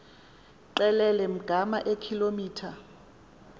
qelele ngama eekilometha